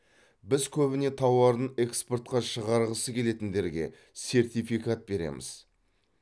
біз көбіне тауарын экспортқа шығарғысы келетіндерге сертификат береміз